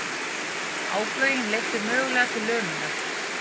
Áflogin leiddu mögulega til lömunar